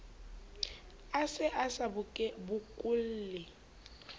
a se a sa bokolle